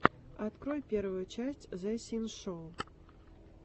открой первую часть зэ синшоу